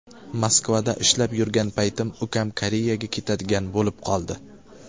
Moskvada ishlab yurgan paytim ukam Koreyaga ketadigan bo‘lib qoldi.